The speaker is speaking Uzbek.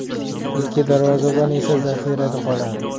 Ikki darvozabon esa zaxirada qoladi.